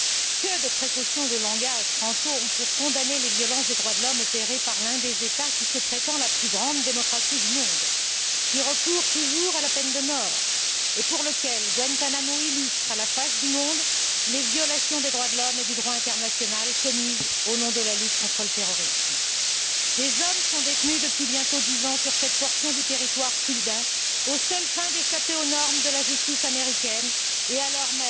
Que de précautions de langage ne prenons nous pas pour condamner les violations des droits de l'homme opérées par l'un des États qui se prétend la plus grande démocratie du monde, qui recourt toujours à la peine de mort et pour lequel Guantánamo illustre à la face du monde les violations des droits de l'homme et du droit international commises au nom de la lutte contre le terrorisme. Des hommes sont détenus depuis bientôt dix ans sur cette portion du territoire cubain, aux seules fins d'échapper aux normes de la justice américaine et alors